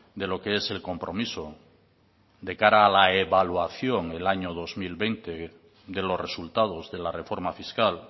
de lo que es el compromiso de cara a la evaluación del año dos mil veinte de los resultados de la reforma fiscal